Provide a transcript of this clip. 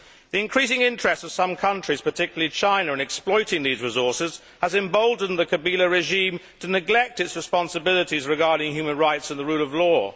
The increasing interest of some countries, particularly China, in exploiting these resources has emboldened the Kabila regime to neglect its responsibilities regarding human rights and the rule of law.